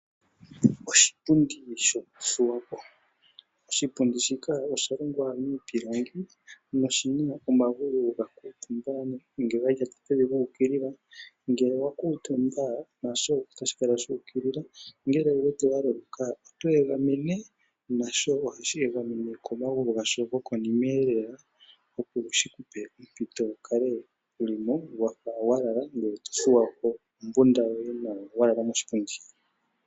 Oshipundi shokuthuwa po. Oshipundi shika osha longwa miipilangi noshina omagulu guukilila ngele owa kuutumba nosho otashi kala shuukilila ongele u were waloloka otweegamene nasho ohashi egameno komagulu gasho gokonimeelela opo shikupe ompito opo wukale wuli mo wafa walala ngoye tothuwa po ombunda yoye nawa walala moshipundi.